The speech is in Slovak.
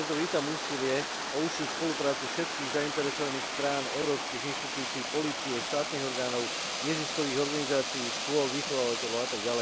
Preto vítam úsilie o užšiu spoluprácu všetkých zainteresovaných strán, európskych inštitúcií, polície, štátnych orgánov, neziskových organizácií, škôl, vychovávateľov atď.